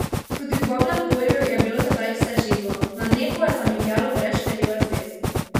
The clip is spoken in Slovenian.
Tudi v Babnem Polju je bilo tedaj vse živo: "Na nebu je zamigljalo brez števila zvezd.